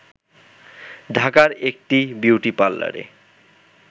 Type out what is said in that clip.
ঢাকার একটি বিউটি পার্লারে